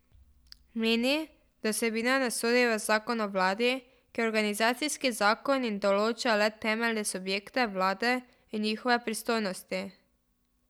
Meni, da vsebina ne sodi v zakon o vladi, ki je organizacijski zakon in določa le temeljne subjekte vlade in njihove pristojnosti.